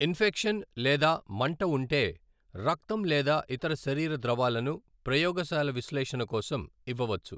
Infection లేదా మంట ఉంటే, రక్తం లేదా ఇతర శరీర ద్రవాలను ప్రయోగశాల విశ్లేషణ కోసం ఇవ్వవచ్చు.